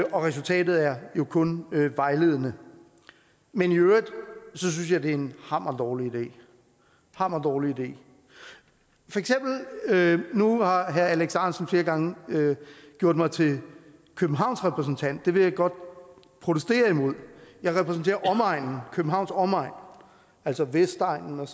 og resultatet er jo kun vejledende men i øvrigt synes jeg det er en hammer dårlig idé hammer dårlig idé nu har herre alex ahrendtsen flere gange gjort mig til københavns repræsentant det vil jeg godt protestere imod jeg repræsenterer københavns omegn altså vestegnen og